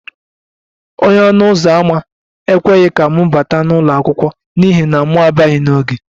Onye ọnụ ụzọ ámá ekweghị ka m bata n'ụlọ akwụkwọ n'ihi na m abịaghi n'oge